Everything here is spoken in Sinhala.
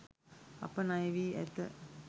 අප ණයවී ඇත.